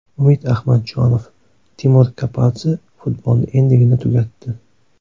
Umid Ahmadjonov: Timur Kapadze futbolni endigina tugatdi.